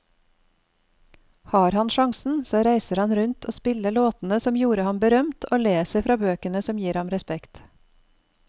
Har han sjansen så reiser han rundt og spiller låtene som gjorde ham berømt, og leser fra bøkene som gir ham respekt.